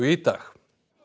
í dag